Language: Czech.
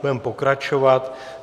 Budeme pokračovat.